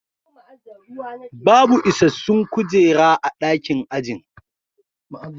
Babu isassun kujera a dakin ajin